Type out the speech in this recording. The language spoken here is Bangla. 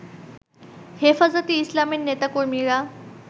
হেফাজতে ইসলামের নেতাকর্মীরা